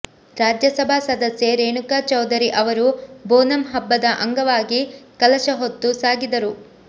ರಾಜ್ಯಸಭಾ ಸದಸ್ಯೆ ರೇಣುಕಾ ಚೌಧುರಿ ಅವರು ಬೊನಮ್ ಹಬ್ಬದ ಅಂಗವಾಗಿ ಕಲಶ ಹೊತ್ತು ಸಾಗಿದರು